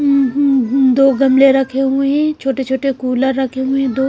हुं हुं हुं दो गमले रखे हुए हैं छोटे-छोटे कूलर रखे हुए हैं दो।